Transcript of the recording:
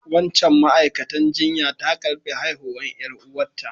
Wancan ma'aikatan jinya ta karbi haihuwan yar'uwa ta.